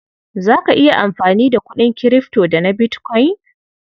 Za ka iya amfani da kuɗin kirifto da na bitkwain?